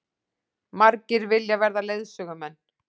Margir vilja verða leiðsögumenn